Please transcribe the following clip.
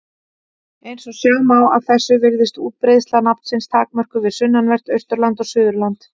Eins og sjá má af þessu virðist útbreiðsla nafnsins takmörkuð við sunnanvert Austurland og Suðurland.